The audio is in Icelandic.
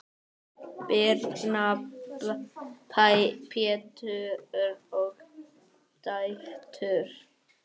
Birna, Pétur og dætur.